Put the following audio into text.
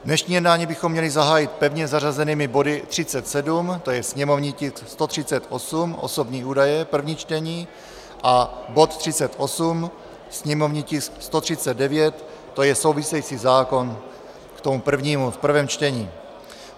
Dnešní jednání bychom měli zahájit pevně zařazenými body 37, to je sněmovní tisk 138, osobní údaje, první čtení, a bod 38, sněmovní tisk 139, to je související zákon k tomu prvnímu, v prvém čtení.